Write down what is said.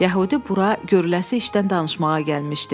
Yəhudi bura görələsi işdən danışmağa gəlmişdi.